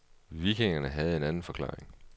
Vikingerne havde en anden forklaring.